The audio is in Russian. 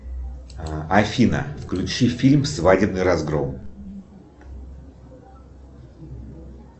афина включи фильм свадебный разгром